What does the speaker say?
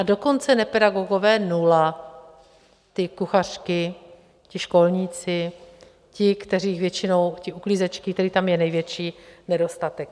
A dokonce nepedagogové nula, ty kuchařky, ti školníci, ti, kteří většinou, ty uklízečky, kterých tam je největší nedostatek.